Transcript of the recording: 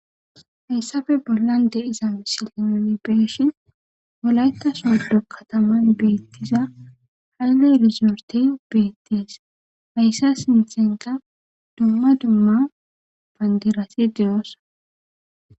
Hayssafe bollan de'iza misilen be'ishin wolaytta sodo kataman beettiza haylle erizorte beettes. Hayssa sintenka dumma dumma bandirati de'oosona.